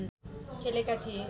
खेलेका थिए